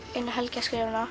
eina helgi að skrifa hana